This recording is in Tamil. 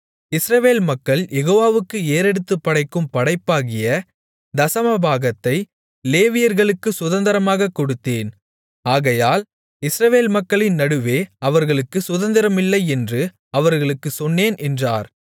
இஸ்ரவேல் மக்கள் யெகோவாவுக்கு ஏறெடுத்துப் படைக்கும் படைப்பாகிய தசமபாகத்தை லேவியர்களுக்குச் சுதந்தரமாகக் கொடுத்தேன் ஆகையால் இஸ்ரவேல் மக்களின் நடுவே அவர்களுக்குச் சுதந்தரமில்லையென்று அவர்களுக்குச் சொன்னேன் என்றார்